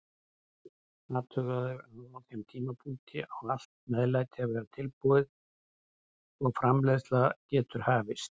Athugaðu að á þeim tímapunkti á allt meðlæti að vera tilbúið og framreiðsla getur hafist.